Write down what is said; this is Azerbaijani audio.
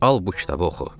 Al bu kitabı oxu.